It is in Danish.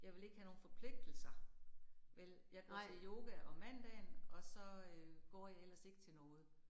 Jeg vil ikke have nogen forpligtelser. Vel, jeg går til yoga om mandagen, og så øh går jeg ellers ikke til noget